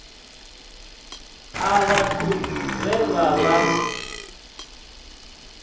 a vhathu vhe vha vha